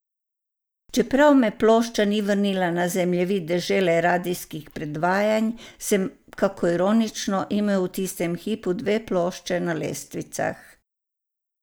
Čeprav me plošča ni vrnila na zemljevid dežele radijskih predvajanj, sem, kako ironično, imel v tistem hipu dve plošči na lestvicah.